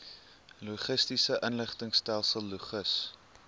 logistiese inligtingstelsel logis